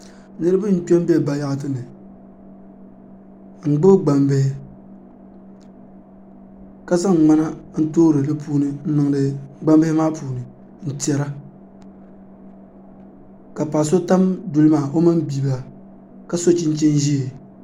Niraba n kpɛ n bɛ bayaɣati ni n gbubi gbambihi ka zaŋ ŋmana n toori di puuni n niŋdi gbambihi maa puuni n tiɛra ka paɣa so tam duli maa o mini bia ka so chinchin ʒiɛ